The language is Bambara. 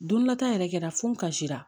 Don dɔlata yɛrɛ kɛra fo n ka jira